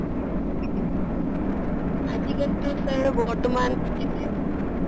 আজি কালিতো sir বৰ্তমান এনে আছো আৰু